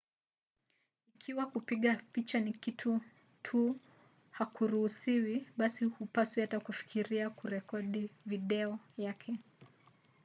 ikiwa kupiga picha ya kitu tu hakuruhusiwi basi hupaswi hata kufikiria kurekodi video yake